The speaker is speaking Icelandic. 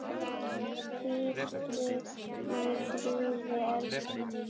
Hvíldu í friði, elskan mín.